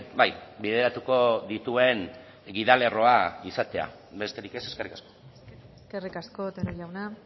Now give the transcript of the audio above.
bai bideratuko dituen gida lerroa izatea besterik ez eskerrik asko eskerrik asko otero jauna